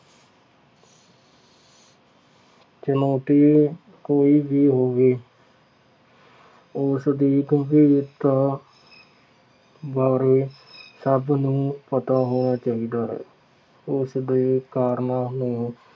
ਚੁਣੌਤੀ ਕੋਈ ਵੀ ਹੋੇਵੇ। ਉਸਦੀ ਗੰਭੀਰਤਾ ਬਾਰੇ ੇਸਭ ਨੂੰ ਪਤਾ ਹੋਣਾ ਚਾਹੀਦਾ ਹੈ। ਉਸਦੇ ਕਾਰਨਾਂ ਨੂੰ